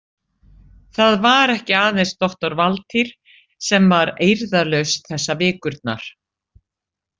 Það var ekki aðeins doktor Valtýr sem var eirðarlaus þessar vikurnar.